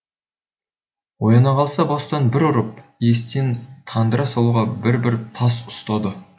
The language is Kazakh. ояна қалса бастан бір ұрып есінен тандыра салуға бір бір тас ұстады